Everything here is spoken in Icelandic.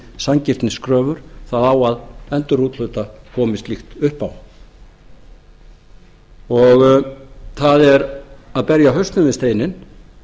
það á að endurúthluta komi slíkt upp á það er að berja hausnum við steininn